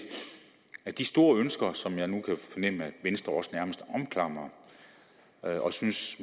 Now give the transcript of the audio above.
at de store ønsker som jeg nu kan fornemme venstre også nærmest omklamrer og